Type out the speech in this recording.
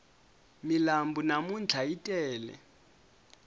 milambu namntlha yi tele